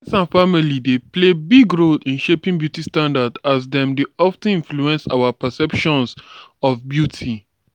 family and friends dey play big role in shaping beauty standards as dem dey of ten influence our perceptions of beauty.